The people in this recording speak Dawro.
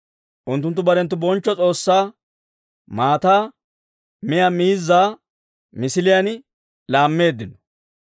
Unttunttu barenttu bonchcho S'oossaa maataa miyaa miizzaa misiliyaan laammeeddino.